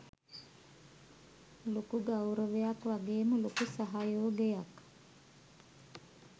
ලොකු ගෞරවයක් වගේම ලොකු සහයෝගයක්